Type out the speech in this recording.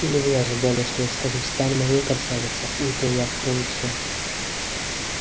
или вы ожидали что я скажу стань моей красавица не то я открою всё